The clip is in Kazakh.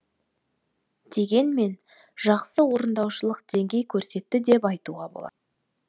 дегенмен жақсы орындаушылық деңгей көрсетті деп айтуға болады